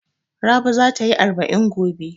Rabi za ta yi arba'in gobe.